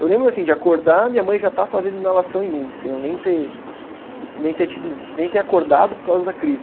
Eu lembro assim de acordar, minha mãe já estar fazendo inalação em mim, sem eu nem ter, nem ter tido, nem ter acordado por causa da crise.